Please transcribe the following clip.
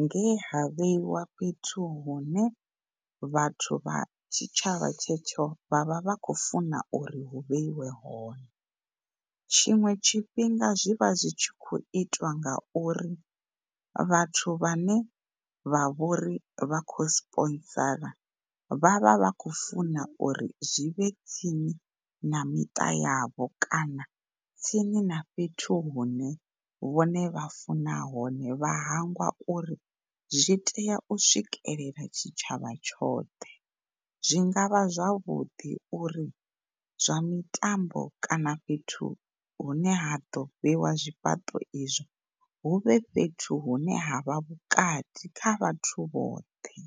nge ha vheiwa fhethu hune vhathu vha tshitshavha tshetsho vhavha vha khou funa uri hu vheiwe hone. Tshiṅwe tshifhinga zwivha zwi tshi khou itwa ngauri vhathu vhane vha vhori vha khou zwi sponsor vha vha khou funa uri zwivhe tsini na miṱa yavho kana tsini na fhethu hune vhone vha funa hone, vha hangwa uri zwi tea u swikelela tshitshavha tshoṱhe. Zwinga vha zwavhuḓi uri zwa mitambo kana fhethu hune ha ḓo fhiwa zwifhaṱo izwo huvhe fhethu hune havha vhukati kha vhathu vhoṱhe.